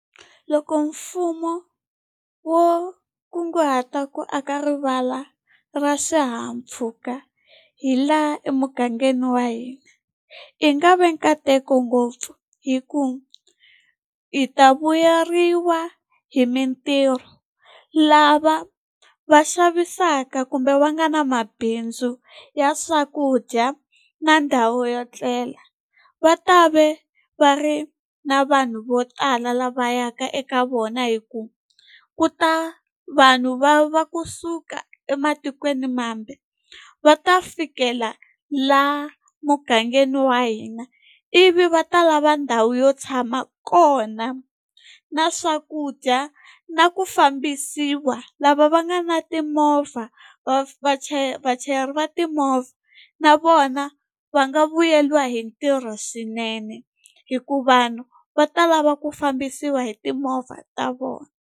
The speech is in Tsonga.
Loko mfumo wo kunguhata ku aka rivala ra swihahampfhuka hi laha emugangeni wa hina, Ku nga ve nkateko ngopfu hikuva hi ta vuyeriwa hi mitirho. Lava va xavisaka kumbe va nga na mabindzu ya swakudya na ndhawu yo etlela, va ta ve va ri na vanhu vo tala lava yaka eka vona hikuva ku ta vanhu va va kusuka ematikweni mambe, va ta fikela laha mugangeni wa hina. Ivi va ta lava ndhawu yo tshama kona, na swakudya, na ku fambisiwa. Lava va nga na timovha, vachayeri va timovha na vona va nga vuyeriwa hi ntirho swinene. Hikuva vanhu va ta lava ku fambisiwa hi timovha ta vona.